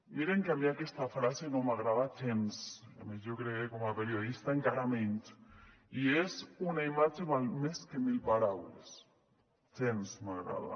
miren que a mi aquesta frase no m’agrada gens a més jo crec que com a periodista encara menys i és una imatge val més que mil paraules gens m’agrada